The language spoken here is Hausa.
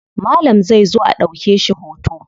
Malam zai zo a ɗauke shi hoto.